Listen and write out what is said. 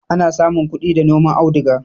Ana samun kudi da noman auduga